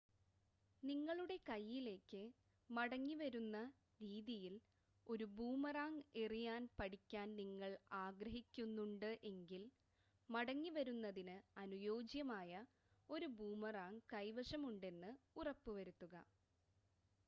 നിങ്ങളുടെ കൈയ്യിലേക്ക് മടങ്ങിവരുന്ന രീതിയിൽ ഒരു ബൂമറാങ് എറിയാൻ പഠിക്കാൻ നിങ്ങൾ ആഗ്രഹിക്കുന്നുണ്ട് എങ്കിൽ മടങ്ങി വരുന്നതിന് അനുയോജ്യമായ ഒരു ബൂമറാങ് കൈവശം ഉണ്ടെന്ന് ഉറപ്പ് വരുത്തുക